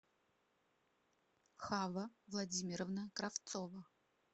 хава владимировна кравцова